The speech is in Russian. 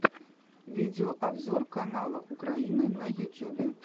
видеообзор канала украина на ютюбе